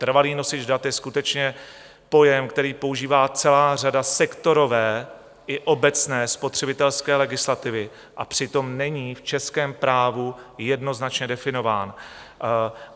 Trvalý nosič dat je skutečně pojem, který používá celá řada sektorové i obecné spotřebitelské legislativy, a přitom není v českém právu jednoznačně definován.